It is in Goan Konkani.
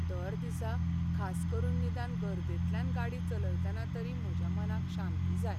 दर दिसा, खास करून निदान गर्देंतल्यान गाडी चलयतना तरी म्हज्या मनाक शांती जाय.